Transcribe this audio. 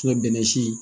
bɛnɛ si